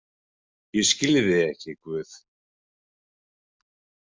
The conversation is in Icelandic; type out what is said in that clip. Ég skil þig ekki, Guð.